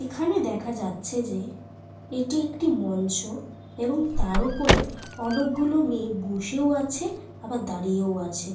তারা একটি সবুজ রঙের কার্পেটের ওপর --